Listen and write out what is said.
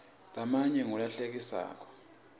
lamanye ngula hlekisako